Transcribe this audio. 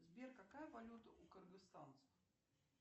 сбер какая валюта у кыргызстанцев